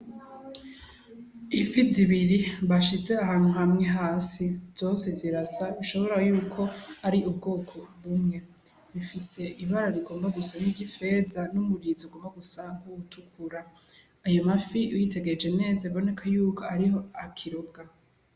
Ifi zi biri bashize ahantu hamwe hasi zose zirasa ntushobora yuko ari ubwoko bumwe bufise ibara rigomba gusa nki ry'ifeza n'umurizo ugomba gusa nk'uwutukura ayo mafi uyitegereje neza urabona ko akirobwa.